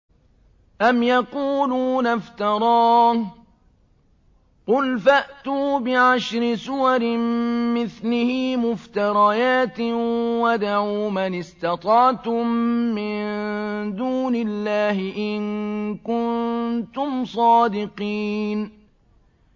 أَمْ يَقُولُونَ افْتَرَاهُ ۖ قُلْ فَأْتُوا بِعَشْرِ سُوَرٍ مِّثْلِهِ مُفْتَرَيَاتٍ وَادْعُوا مَنِ اسْتَطَعْتُم مِّن دُونِ اللَّهِ إِن كُنتُمْ صَادِقِينَ